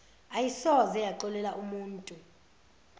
ayisoze yaxolela umutu